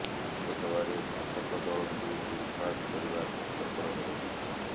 ଲୋକସଭାରେ ଶାସକ ଦଳକୁ ବିଲ୍ ପାସ କରିବା କଷ୍ଟକର ହେବ ନାହିଁ